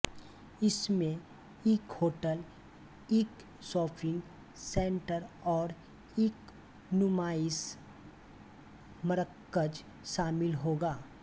इस मैं इक होटल इक स़ापिग सैंटर और इक नुमाइस़ी मरकज़ स़ामिल होगा